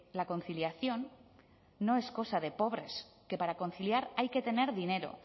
la conciliación no es cosa de pobres que para conciliar hay que tener dinero